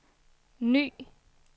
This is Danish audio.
ny